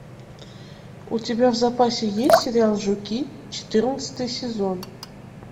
у тебя в запасе есть сериал жуки четырнадцатый сезон